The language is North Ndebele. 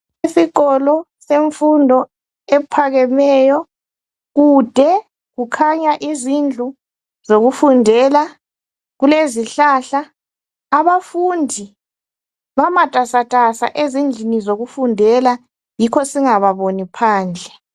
Isikolo semfundo ephakemeyo kude kukhanya izindlu zokufundela kulezihlahla. Abafundi bamatasatasa ezindlini zokufundela yikho singababoni phandle.